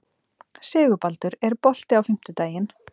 Sigurbaldur, er bolti á fimmtudaginn?